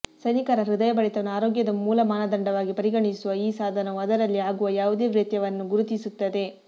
ಸೈನಿಕರ ಹೃದಯಬಡಿತವನ್ನು ಆರೋಗ್ಯದ ಮೂಲ ಮಾನದಂಡ ವಾಗಿ ಪರಿಗಣಿಸುವ ಈ ಸಾಧನವು ಅದರಲ್ಲಿ ಆಗುವ ಯಾವುದೇ ವ್ಯತ್ಯಯವನ್ನು ಗುರುತಿಸುತ್ತದೆ